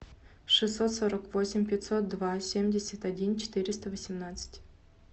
шестьсот сорок восемь пятьсот два семьдесят один четыреста восемнадцать